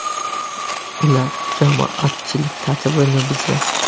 Ular jamoatchilik tartibini buzgan.